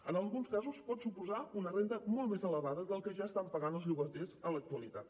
en alguns casos pot suposar una renda molt més elevada del que ja estan pagant els llogaters en l’actualitat